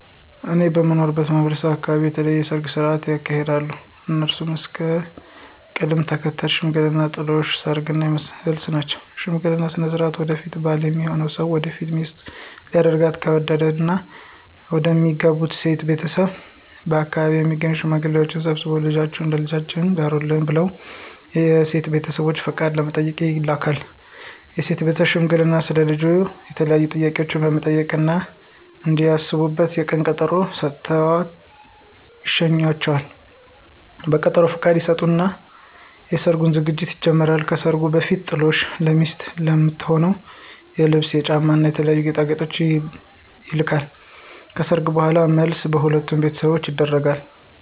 እኔ በምኖርበት ማህበረሰብ አካበቢ የተለያዩ የሰርግ ስነ ሥርዓቶች ይካሄዳሉ። እነሱም እስከ ቅደም ተከተላቸው ሽምግልና፣ ጥሎሽ፣ ሰርግ እና መልስ ናቸው። በሽምግልና ስነ ሥርዓት ወደፊት ባል ሚሆነው ሰው ወደፊት ሚስቱ ሊያደርጋት ከወደደው እና መደሚያገባት ሴት ቤተሰቦች በአከባቢው የሚገኙ ሽማግሌዎችን ሰብስቦ ልጃችሁን ለልጃችን ዳሩልን ብለው የሴትን ቤተሰቦች ፍቃድ ለመጠየቅ ይልካል። የሴት ቤተሰብም ሽማግሌዎቹን ስለ ልጁ የተለያዩ ጥያቄዎችን በመጠየቅ እና እንዲያስቡበት የቀን ቀጠሮ ሰጥተው ይሸኟቸዋል። በቀጠሮውም ፍቃዳቸውን ይሰጡና የሰርጉ ዝግጅት ይጀመራል። ከሰርጉ በፊትም ጥሎሽ ለሚስቱ ለምትሆነው የልብስ፣ የጫማ እና የተለያዩ ጌጣጌጦች ይልካል። ከሰርጉ በኋላም መልስ በሁለቱም ቤተሰቦች ይደረጋል።